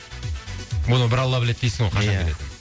оны бір алла біледі дейсің ғой ия қашан келетінін